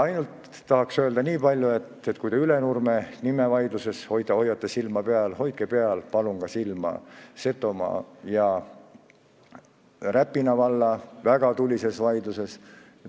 Öelda tahan veel ainult nii palju, et kui te Ülenurme nime vaidlusel hoiate silma peal, siis hoidke palun silma peal ka Setomaa ja Räpina valla väga tulisel vaidlusel.